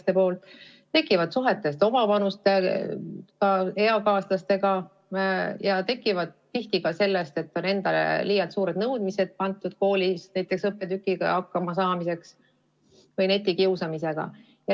Need probleemid tekivad suhetest eakaaslastega ja tihti ka sellest, et endale on liialt suured nõudmised seatud, näiteks õppetükkidega hakkama saamisel, ja netikiusamisest.